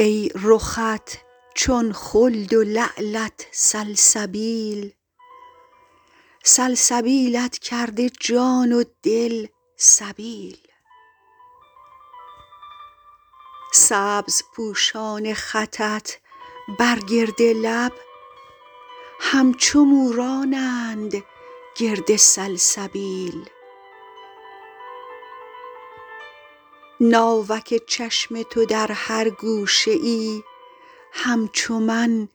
ای رخت چون خلد و لعلت سلسبیل سلسبیلت کرده جان و دل سبیل سبزپوشان خطت بر گرد لب همچو مورانند گرد سلسبیل ناوک چشم تو در هر گوشه ای همچو من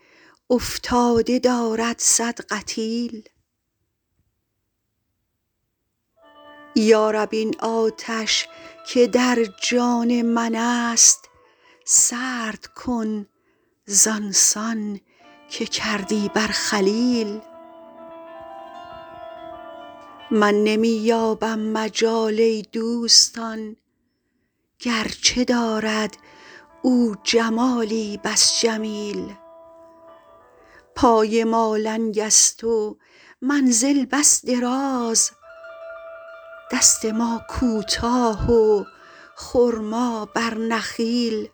افتاده دارد صد قتیل یا رب این آتش که در جان من است سرد کن زان سان که کردی بر خلیل من نمی یابم مجال ای دوستان گرچه دارد او جمالی بس جمیل پای ما لنگ است و منزل بس دراز دست ما کوتاه و خرما بر نخیل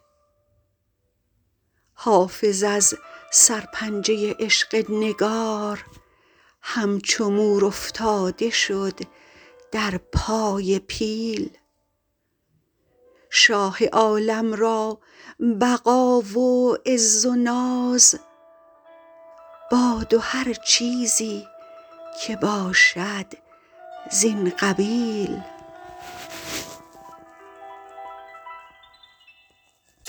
حافظ از سرپنجه عشق نگار همچو مور افتاده شد در پای پیل شاه عالم را بقا و عز و ناز باد و هر چیزی که باشد زین قبیل